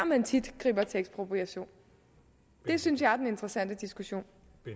man tit griber til ekspropriation det synes jeg er den interessante diskussion